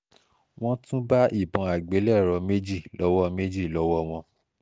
wọ́n tún bá ìbọn àgbélẹ̀rọ méjì lọ́wọ́ méjì lọ́wọ́ wọn